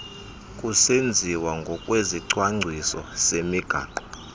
kusenziwa ngokwesicwangciso semigaqo